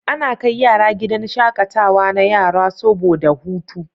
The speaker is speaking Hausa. Ana kai yara gidan shaƙatawa na yara soboda su huta.